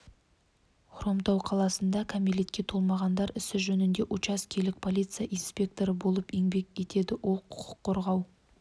хромтау қаласында кәмелетке толмағандар ісі жөніндегі учаскелік полиция инспекторы болып еңбек етеді ол құқық қорғау